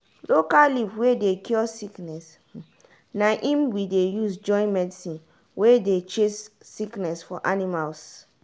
local leaf wey dey cure sickness na im we dey use join medicine wey dey chase sickness for animals.